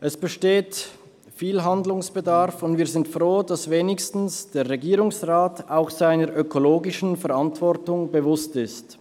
Es besteht viel Handlungsbedarf, und wir sind froh, dass sich wenigstens der Regierungsrat auch seiner ökologischen Verantwortung bewusst ist.